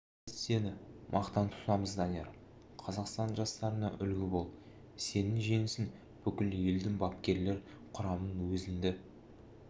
біз сені мақтан тұтамыз данияр қазақстан жастарына үлгі бол сенің жеңісің бүкіл елдің бапкерлер құрамының өзіңді